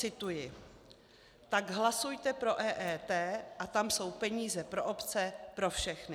Cituji: Tak hlasujte pro EET a tam jsou peníze pro obce, pro všechny.